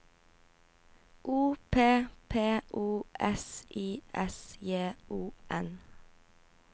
O P P O S I S J O N